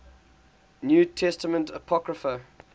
new testament apocrypha